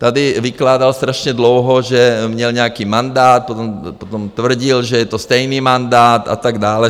Tady vykládal strašně dlouho, že měl nějaký mandát, potom tvrdil, že je to stejný mandát, a tak dále.